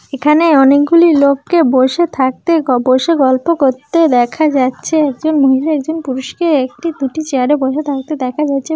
এখানে অনেকগুলি লোককে বসে থাকতে গ-- বসে গল্প করতে দেখা যাচ্ছে একজন মহিলা একজন পুরুষকে একটি দুটি চেয়ারে বসে থাকতে দেখা যাচ্ছে।